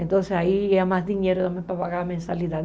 Então, aí ia mais dinheiro também para pagar a mensalidade.